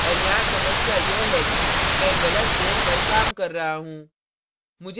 और यहाँ समस्या यह है कि मैं गलत layer पर काम कर रहा हूँ